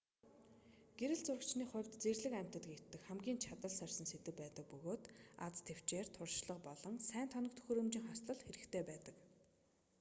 гэрэл зурагчны хувьд зэрлэг амьтад гэдэг хамгийн чадал сорьсон сэдэв байдаг бөгөөд аз тэвчээр туршлага болон сайн тоног төхөөрөмжийн хослол хэрэгтэй байдаг